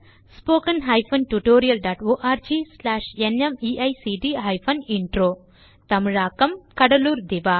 contact spoken hyphen tutorial dot org தமிழில் கடலூர் திவா